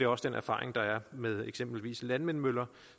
også den erfaring der er med for eksempel landvindmøller